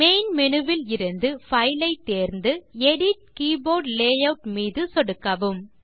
main menu விலிருந்து file ஐ தேர்ந்து எடிட் கீபோர்ட் லேயூட் மீது சொடுக்கவும்